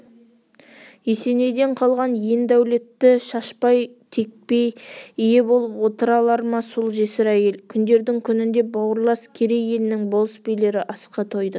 есенейден қалған ен дәулетті шашпай текпей ие болып отыра алар ма сол жесір әйел күндердің күнінде бауырлас керей елінің болыс-билері асқа тойды